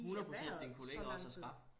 100% din kollega også er skrap